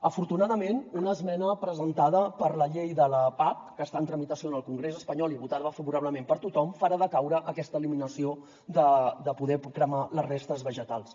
afortunadament una esmena presentada per la llei de la pac que està en tramitació en el congrés espanyol i votada favorablement per tothom farà decaure aquesta eliminació de poder cremar les restes vegetals